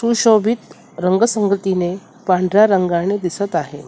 सूशोभित रंगसंगतीने पांढऱ्या रंगाने दिसत आहे.